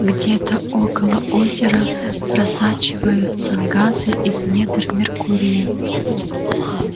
где-то около озера просачиваются газы из недр меркурия